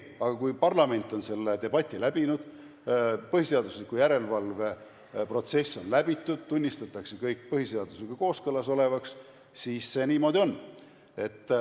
Aga kui parlament on selle debati läbinud, põhiseaduslikkuse järelevalve protsess on läbitud ja kõik tunnistatakse põhiseadusega kooskõlas olevaks, siis see niimoodi on.